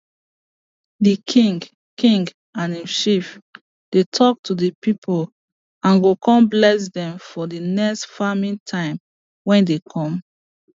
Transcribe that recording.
the king king and im chief dey talk to the people and go con bless dem for the next farming time wey dey come